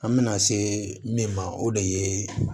An bɛna se min ma o de ye